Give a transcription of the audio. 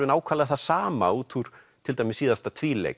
nákvæmlega það sama út úr til dæmis síðasta